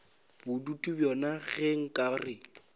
bodutu bjona ge nka re